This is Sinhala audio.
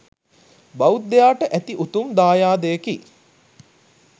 බෞද්ධයාට ඇති උතුම් දායාදයකි